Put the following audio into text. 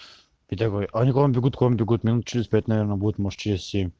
александр гудков минут через пять наверное будет может есть